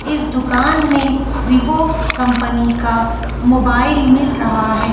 इस दुकान में वीवो कंपनी का मोबाइल मिल रहा है।